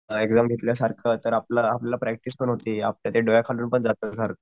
Exam घेतल्या सारखं तर आपलं आपलं प्रॅक्टिस पण होती आपल्या डोळ्याखालनं जात सारखं.